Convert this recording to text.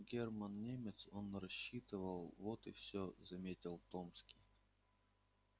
германн немец он рассчитывал вот и всё заметил томский